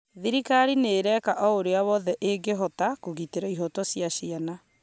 thirikari nĩ ĩreeka o ũrĩa wothe ĩngĩhota kũgitĩra ihoto cia ciana